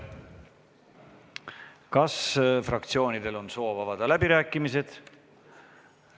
Kas fraktsioonidel on soovi avada läbirääkimisi?